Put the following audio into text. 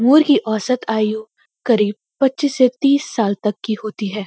मोर की औसत आयु क़रीब पचीस से तीस साल तक की होती है।